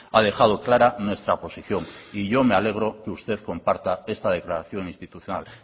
ha dejado clara nuestra posición y yo me alegro que usted comparta esta declaración institucional